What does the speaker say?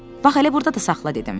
Bax elə burda da saxla dedim.